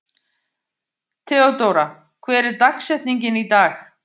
Theódóra, hver er dagsetningin í dag?